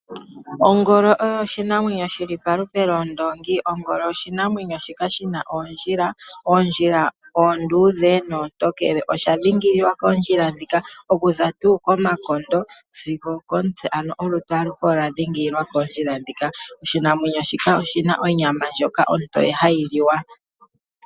Ongolo oyo oshinamwenyo shi li palupe lwondoongi. Ongolo oshinamwenyo shoka shi na oondjila. Oondjila oonduudhe noontokele. Osha dhingolokwa koondjila ndhika okuza tuu komakondo sigo okomutse, ano olutu aluhe olu na oondjila. Oshinamwenyo shika oshi na onyama ndjoka ontoye hayi liwa.